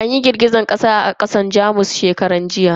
An yi girgizar kasa a kasar Jamus shekaran jiya.